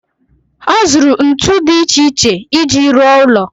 Ọ zụrụ ntu dị iche iche iji ruo ụlọ.